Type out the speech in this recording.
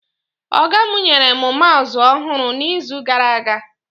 Ọga mụ nyere mụ maụsụ ọhụrụ na izu gara aga